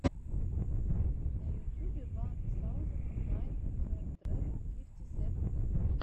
на ютюбе ван саузенд найн хандрэд фифти сэвэн пипл